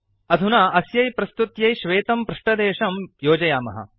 अधुना अस्यै प्रस्तुत्यै श्वेतं पृष्टदेशं योजयामः